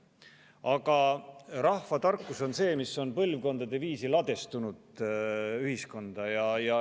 Aga rahvatarkus on see, mis on põlvkondade viisi ühiskonda ladestunud.